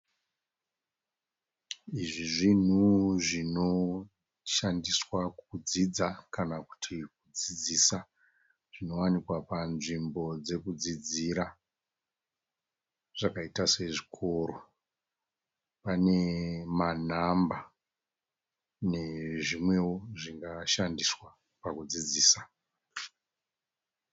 Izvi zvinhu zvinoshandiswa kudzidza kana kuti kudzidzisa zvinowanikwa panzvimbo dzekudzidzira zvakaita sezvikoro. Pane manhamba nezvimwewo zvingashandiswa pakudzidzisa.